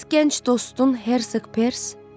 Bəs gənc dostun Hersek Pers?